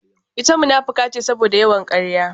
Ita munafuka ce saboda yawan karya